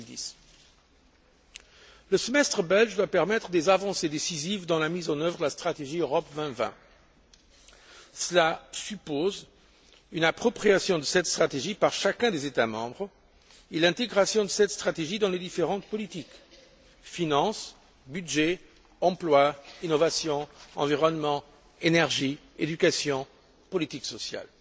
2010. Le semestre belge doit permettre des avancées décisives dans la mise en œuvre de la stratégie Europe 2020. Cela suppose une appropriation de cette stratégie par chacun des États membres et l'intégration de cette dernière dans les différentes politiques finances, budget, emploi, innovation, environnement, énergie, éducation et politique sociale.